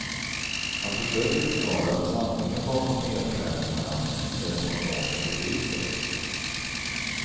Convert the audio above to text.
Han försöker förklara att sanningen bakom nedskärningarna är den ekonomiska krisen.